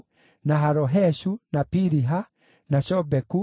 na Haloheshu, na Piliha, na Shobeku,